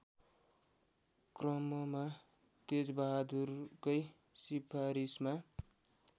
क्रममा तेजबहादुरकै सिफारिसमा